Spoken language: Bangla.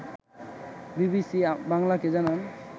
বিবিসি বাংলাকে জানান